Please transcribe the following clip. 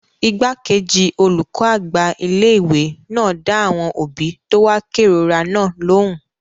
Igbákejì olùkọ́ àgbà ilé-ìwé náà dá àwọn òbí tó wá kérora náà lóhùn